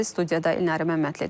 Studiyada İnara Məmmədlidir.